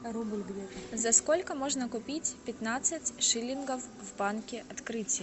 за сколько можно купить пятнадцать шиллингов в банке открытие